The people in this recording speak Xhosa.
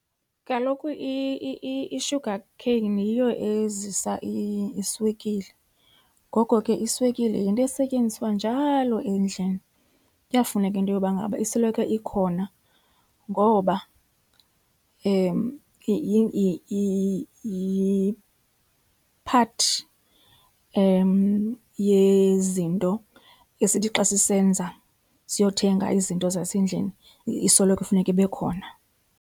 Kaloku i-sugar cane yiyo ezisa iswekile, ngoko ke iswekile yinto esetyenziswa njalo endlini. Kuyafuneka into yoba ngaba isoloko ikhona ngoba yi-part yezinto esithi xa sisenza, siyothenga izinto zasendlini isoloko ifuneka ibe khona.